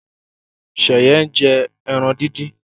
Sheye njé èràn dín dín.